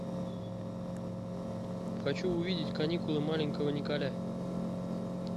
хочу увидеть каникулы маленького николя